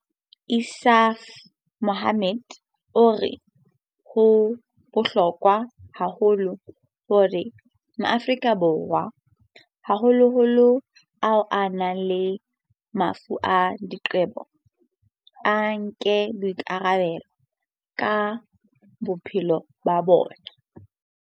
Insaaf Mohammed o re ho bohlokwa haholo hore Maafrika Borwa, haholoholo ao a nang le mafu a diqebo, a nke boikarabelo ka maphelo a bona.